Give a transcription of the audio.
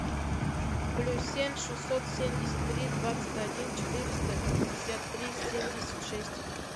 плюс семь шестьсот семьдесят три двадцать один четыреста пятьдесят три семьдесят шесть